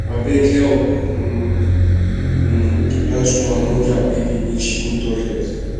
abeg help um um dat woman hold her baby make she go toilet